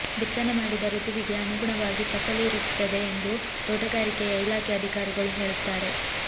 ಬಿತ್ತನೆ ಮಾಡಿದ ಋತುವಿಗೆ ಅನುಗುಣವಾಗಿ ಫಸಲು ಇರುತ್ತದೆ ಎಂದು ತೋಟಗಾರಿಕೆಯ ಇಲಾಖೆ ಅಧಿಕಾರಿಗಳು ಹೇಳುತ್ತಾರೆ